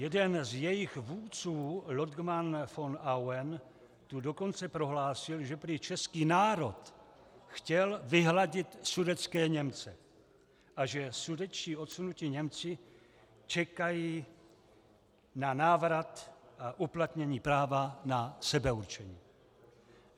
Jeden z jejich vůdců Lodgman von Auen tu dokonce prohlásil, že prý český národ chtěl vyhladit sudetské Němce a že sudetští odsunutí Němci čekají na návrat a uplatnění práva na sebeurčení.